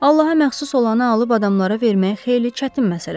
Allaha məxsus olanı alıb adamlara vermək xeyli çətin məsələdir.